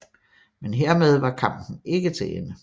Men hermed var kampen ikke til ende